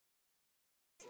Ég er farin með barnið!